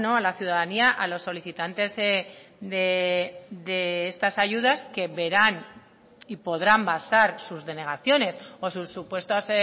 a la ciudadanía a los solicitantes de estas ayudas que verán y podrán basar sus denegaciones o sus supuestas